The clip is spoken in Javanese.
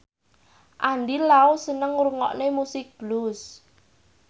Andy Lau seneng ngrungokne musik blues